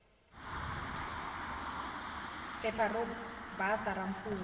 phepha ro basa ra mfumo